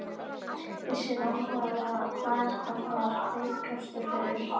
Vissi nákvæmlega hvar hann var veikastur fyrir.